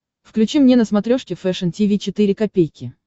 включи мне на смотрешке фэшн ти ви четыре ка